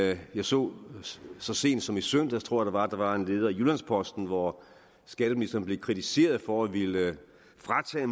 jeg så så sent som i søndags tror jeg det var at der var en leder i jyllands posten hvor skatteministeren blev kritiseret for at ville fratage